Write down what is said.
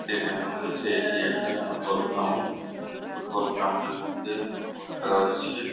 দেখে মনে হচ্ছে এটি একটি ফুটবল গ্রাউন্ড | এইটি ফুটবল গ্রাউন্ড -এর মধ্যে ফুটবল খেলা হচ্ছে ।